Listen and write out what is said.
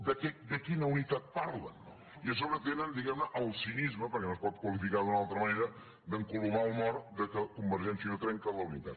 però de quina unitat parlen i a sobre tenen diguemne el cinisme perquè no es pot qualificar d’una altra manera d’encolomar el mort que convergència i unió trenca la unitat